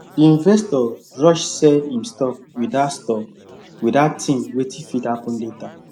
the investor rush sell him stock without stock without think wetin fit happen later